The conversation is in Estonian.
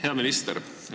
Hea minister!